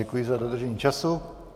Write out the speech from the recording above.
Děkuji za dodržení času.